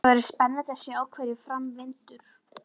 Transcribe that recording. Það verður spennandi að sjá hverju fram vindur.